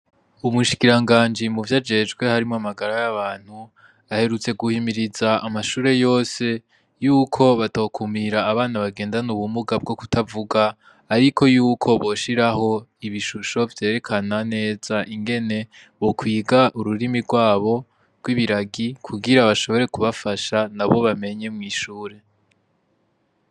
Umushikira nganji mu vyo ajejwe harimo amagara y'abantu aherutse guhimiriza amashure yose yuko batokumira abana bagendane ubumuga bwo kutavuga, ariko yuko boshiraho ibishusho vyerekana neza ingene bokwiga ururimi rwabo rw'ibiragi kugira bashobore bafasha na bo bamenye mw'ishure.